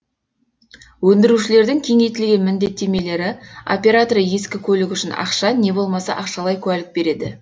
өндірушілердің кеңейтілген міндеттемелері операторы ескі көлік үшін ақша не болмаса ақшалай куәлік береді